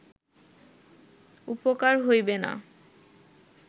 উপকার হইবে না